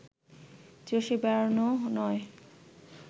চষে বেড়ানোও নয়